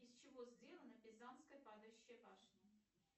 из чего сделана пизанская падающая башня